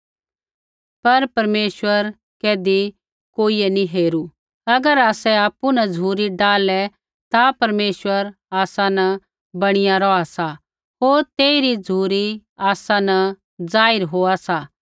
पर परमेश्वर कैधी कोइयै नैंई हेरू अगर आसै आपु न झ़ुरी डाहलै ता परमेशवर आसा न बणीया रौहा सा होर तेइरी झ़ुरी आसा न जाहिर होआ सा